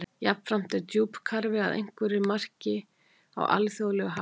Jafnframt er djúpkarfi að einhverju marki á alþjóðlegu hafsvæði.